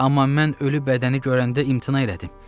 Amma mən ölü bədəni görəndə imtina elədim.